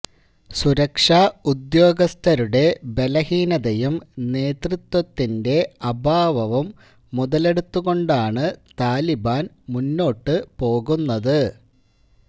സുരക്ഷാ ഉദ്യോഗസ്ഥരുടെ ബലഹീനതയും നേതൃത്വത്തിന്റെ അഭാവവും മുതലെടുത്തുകൊണ്ടാണ് താലിബാന് മുന്നോട്ടുപോകുന്നത്